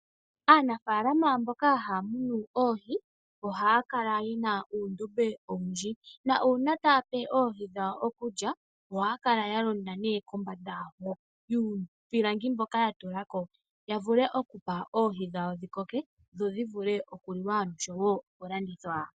Aanafaalama mboka haya munu oohi ohaya kala yena uundombe owindji, na uuna taya pe oohi dhawo okulya ohaya kala nee ya londa kombanda yuupilangi mboka ya tula ko, ya vule okupa oohi dhawo dhikoke, dho dhi vule okuliwa osho woo oku landithwa.